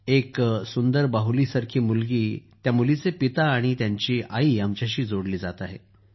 एक सुंदर बाहुलीसारख्या मुलीचे पिता आणि त्यांची आई आमच्याशी जोडली जात आहे